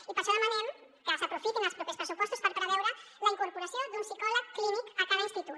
i per això demanem que s’aprofitin els propers pressupostos per preveure la incorporació d’un psicòleg clínic a cada institut